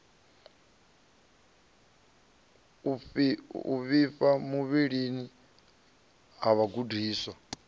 u vhifha muvhilini ha vhagudiswa